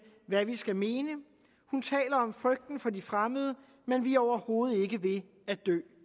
hvad vi skal mene hun taler om frygten for de fremmede men vi er overhovedet ikke ved at dø